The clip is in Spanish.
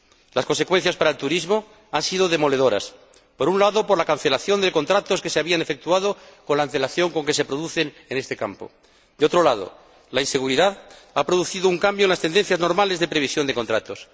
Las consecuencias para el turismo han sido demoledoras por un lado, por la cancelación de contratos que se habían efectuado con la antelación con que se producen en este campo y, por otro lado, por la inseguridad, que ha producido un cambio en las tendencias normales de previsión de contratos.